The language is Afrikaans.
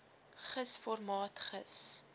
gis formaat gis